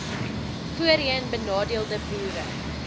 voorheen benadeelde boere